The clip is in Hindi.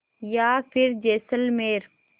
या फिर जैसलमेर